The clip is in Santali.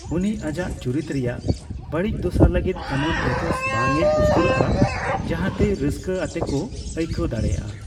ᱩᱱᱤ ᱟᱡᱟᱜ ᱪᱩᱨᱤᱛ ᱨᱮᱱᱟᱜ ᱵᱟᱹᱲᱤᱡ ᱫᱚᱥᱟ ᱞᱟᱹᱜᱤᱫ ᱮᱢᱚᱱ ᱯᱮᱛᱷᱳᱥ ᱵᱟᱝᱮ ᱩᱥᱠᱩᱨ ᱟᱜᱼᱟ ᱡᱟᱦᱟᱸ ᱛᱮ ᱨᱟᱹᱱᱟᱹᱥᱠᱟ ᱟᱛᱮᱠᱚ ᱟᱹᱭᱠᱟᱹᱣ ᱫᱟᱲᱮᱭᱟᱜᱼᱟ ᱾